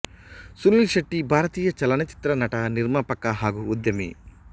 ಸುನೀಲ್ ಶೆಟ್ಟಿ ಭಾರತೀಯ ಚಲನಚಿತ್ರ ನಟ ನಿರ್ಮಾಪಕ ಹಾಗೂ ಉದ್ಯಮಿ